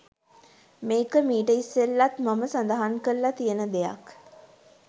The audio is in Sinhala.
මේක මීට ඉස්සෙල්ලාත් මම සදහන් කරලා තියෙන දෙයක්.